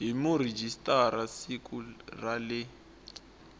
hi murhijisitara siku ra le